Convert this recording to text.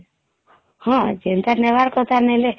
ହଁ ଯେନ୍ତା ନବାର କଥା ନେଲେ